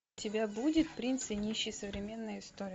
у тебя будет принц и нищий современная история